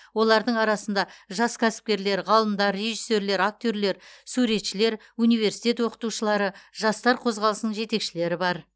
олардың арасында жас кәсіпкерлер ғалымдар режиссерлер актерлер суретшілер университет оқытушылары жастар қозғалысының жетекшілері бар